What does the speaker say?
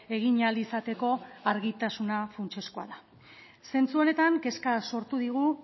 egin ahal izateko argitasuna funtsezkoa da zentzu honetan kezka sortu digu